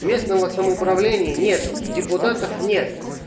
местного самоуправления нету депутатов нет